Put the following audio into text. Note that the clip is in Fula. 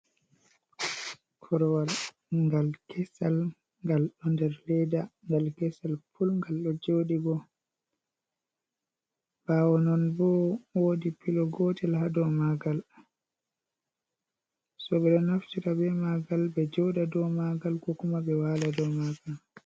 Korwal ngal kesal ngal do nder leda ngal kesal pul gal do jodi bo bawo non bo wodi pilo gotel ha do magal so be do naftita be magal be joda do magal kokuma ɓe wala do magal.